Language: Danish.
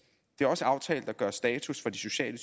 det er også aftalt at gøre status for de sociale